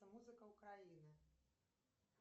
музыка украина